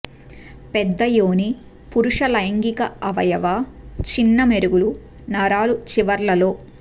పెద్ద యోని పురుష లైంగిక అవయవ చిన్న మెరుగులు నరాల చివర్లలో